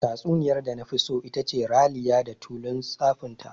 Tatsuniyar da nafi so itace "Raliya da tulun tsafinta".